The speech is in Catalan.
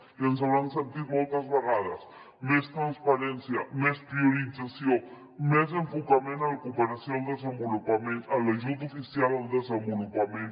i ens deuen haver sentit moltes vegades més transparència més priorització més enfocament a la cooperació al desenvolupament en l’ajut oficial al desenvolupament